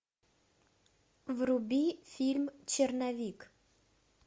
вруби фильм черновик